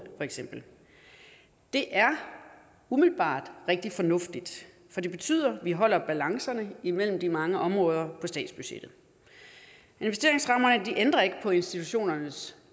det er umiddelbart rigtig fornuftigt for det betyder vi holder balancerne imellem de mange områder på statsbudgettet investeringsrammer ændrer ikke på institutionernes